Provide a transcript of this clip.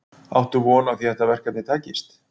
Áttu von á því að þetta verkefni takist?